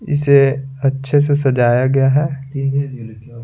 इसे अच्छे से सजाया गया है।